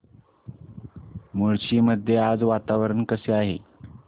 मुळशी मध्ये आज वातावरण कसे आहे